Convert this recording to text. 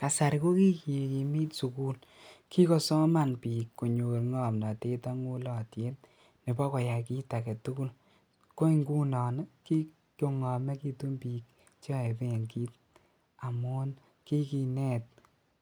Kasari kokikikimit sukul kikosoman biik konyor ng'omnotet ak ng'ulotyet nebo koyai kiit aketukul, ko ing'unon ii kikong'omekitun biik cheyoe benkit amuun kikinet